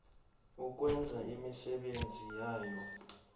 ukwenza imisebenzi yabo